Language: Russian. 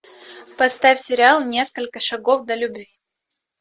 поставь сериал несколько шагов до любви